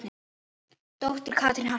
Dóttir Katrín Harpa.